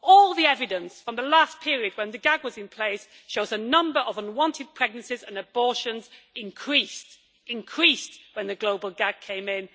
All the evidence from the last period when the gag was in place shows that the number of unwanted pregnancies and abortions increased when the global gag came in.